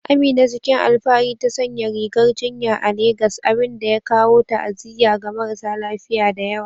Amina, cikin alfahari ta sanya rigar jinya a Legas, abin da ya kawo ta'aziyya ga marasa lafiya da yawa.